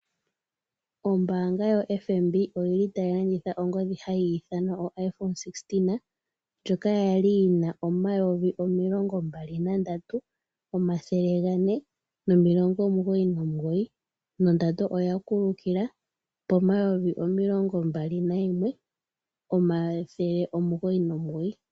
Ombanga ya FNB oyili tayi lanitha oongodhi yopeke ndjoka hayi iithanwa Iphone 16, ndjoka kwali yina N$23,499, nondando oya kuluka yeya po N$21,999.